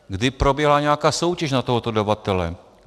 Kdy proběhla nějaká soutěž na tohoto dodavatele?